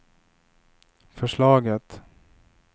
förslaget